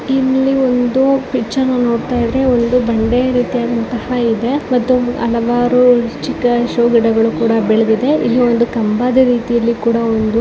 ಇಲ್ಲಿ ಒಂದು ಪಿಕ್ಚರ್ ನೋಡ್ತಾ ಇದ್ರೆ ಒಂದು ಬಂಡೆಯ ರೀತಿಯಾದಂತಹ ಇದೆ ಮತ್ತು ಹಲವಾರು ಚಿಕ್ಕ ಶೋ ಗಿಡಗಳು ಕೂಡ ಬೆಳೆದಿದೆ ಇಲ್ಲಿ ಒಂದು ಕಂಬದ ರೀತಿಯ ಕೂಡ ಒಂದು--